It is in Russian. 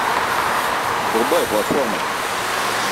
врубай платформа